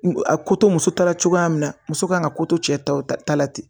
A ko to muso ta la cogoya min na muso kan ka ko to cɛ taw ta la ten